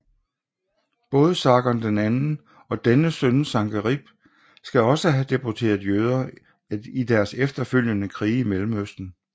Både Sargon II og dennes søn Sankerib skal også have deporteret jøder i deres efterfølgende krige i Mellemøsten